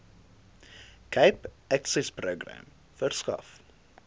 cape accessprojek verskaf